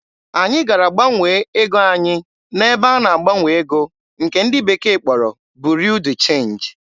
Anyị gara gbanwee ego anyị n'ebe a na-agbanwe ego nke ndị bekee kpọrọ "Bureau de change."